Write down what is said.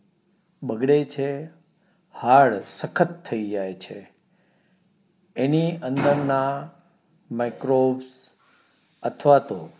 બગડે છે હદ સખત થઇ જાય છે એની અંદરના MICRONES અથવા તો